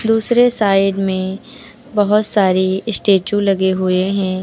दूसरे साइड में बहोत सारी स्टैचू लगे हुए हैं।